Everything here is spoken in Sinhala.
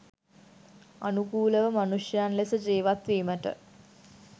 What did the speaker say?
අනුකූලව මනුෂ්‍යයන් ලෙස ජීවත් වීමට